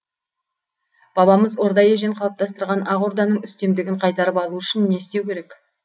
бабамыз орда ежен қалыптастырған ақ орданың үстемдігін қайтарып алу үшін не істеу керек